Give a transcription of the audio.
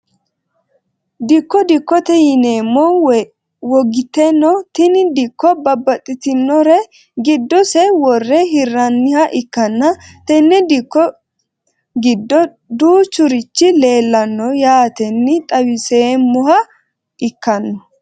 Dikko dikkote yinemo wogiteno tini dikko babaxitinore giddo se wore hiraniha ikanna tene dikko giddo duuchurichi leelano yaateni xawiseemoha ikanno.